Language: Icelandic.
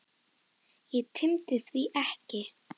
Hið illa hafði sigrað.